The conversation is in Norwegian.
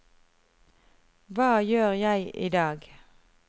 hva gjør jeg idag